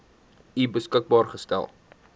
u beskikbaar gestel